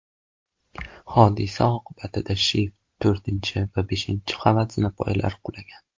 Hodisa oqibatida shift, to‘rtinchi va beshinchi qavat zinapoyalari qulagan.